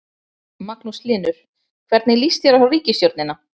Magnús Hlynur: Hvernig lýst þér á ríkisstjórnina?